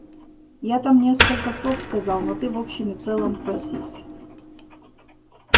я там несколько слов сказал но ты в общем и целом просись